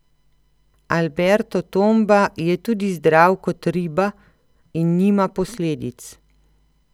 Alberto Tomba je tudi zdrav kot riba in nima posledic.